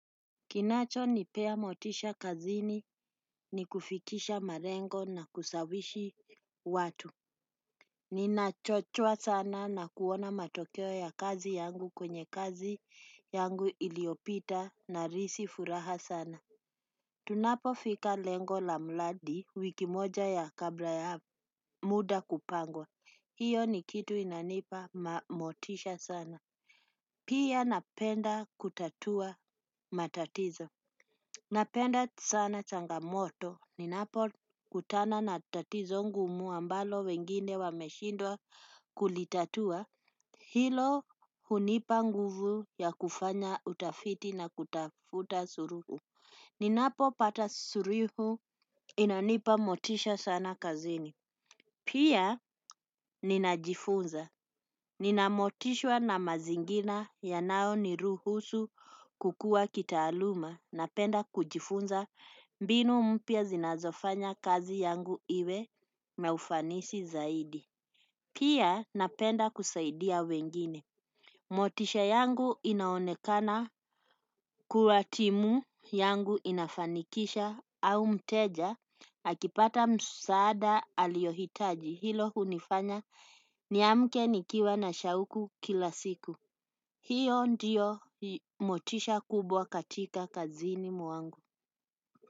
Kinachonipea motisha kazini ni kufikisha malengo na kusawishi watu. Ninachochwa sana na kuona matokeo ya kazi yangu kwenye kazi yangu iliopita nahisi furaha sana. Tunapofika lengo la mradi wiki moja ya kabla ya muda kupangwa. Hiyo ni kitu inanipa motisha sana pia napenda kutatua matatizo napenda sana changamoto ninapokutana na tatizo ngumu ambalo wengine wameshindwa kulitatua. Hilo hunipa nguvu ya kufanya utafiti na kutafuta suluhu. Ninapopata suluhu inanipa motisha sana kazini. Pia ninajifunza. Nina motisha na mazingina yanaoniruhusu kukua kitaaluma. Napenda kujifunza mbinu mpya zinazofanya kazi yangu iwe na ufanisi zaidi. Pia napenda kusaidia wengine. Motisha yangu inaonekana kua timu yangu inafanikisha au mteja. Akipata msaada aliyohitaji hilo hunifanya niamke nikiwa na shauku kila siku. Hio ndio motisha kubwa katika kazini mwangu.